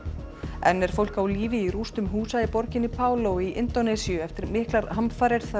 enn er fólk á lífi í rústum húsa í borginni í Indónesíu eftir miklar hamfarir þar á